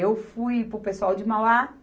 Eu fui para o pessoal de Mauá.